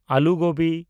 ᱟᱞᱩ ᱜᱳᱵᱤ